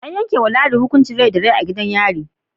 An yankewa ladi hukuncin Rai da Rai a gidan yari